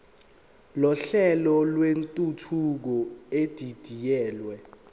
nohlelo lwentuthuko edidiyelwe